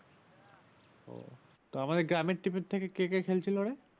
তো আমাদের গ্রামের team এর থেকে কে কে খেলছিল রে?